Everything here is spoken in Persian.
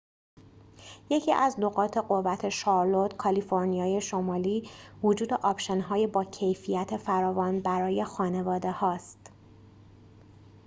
یکی از نقاط قوت شارلوت کالیفرنیای شمالی وجود آپشن‌های با کیفیت فراوان برای خانواده‌هاست